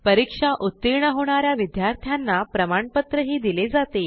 परीक्षा उत्तीर्ण होणा या विद्यार्थ्यांना प्रमाणपत्रही दिले जाते